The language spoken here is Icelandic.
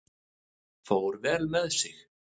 Fór vel með sig.